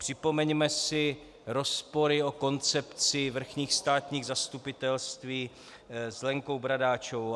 Připomeňme si rozpory a koncepci vrchních státních zastupitelství s Lenkou Bradáčovou.